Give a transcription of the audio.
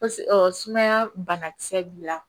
ɔ sumaya banakisɛ b'i la